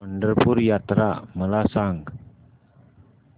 पंढरपूर यात्रा मला सांग